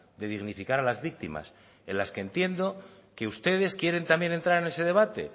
de dignificar a las víctimas en las que entiendo que ustedes quieren también entrar en ese debate